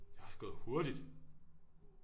Det er også gået hurtigt